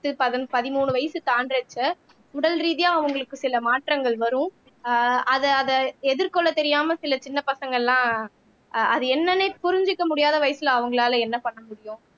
பதன் பதிமூணு வயசு தாண்டுறச்ச உடல் ரீதியா அவங்களுக்கு சில மாற்றங்கள் வரும் ஆஹ் அதை அதை எதிர்கொள்ள தெரியாம சில சின்ன பசங்க எல்லாம் அஹ் அது என்னன்னே புரிஞ்சுக்க முடியாத வயசுல அவங்களால என்ன பண்ண முடியும்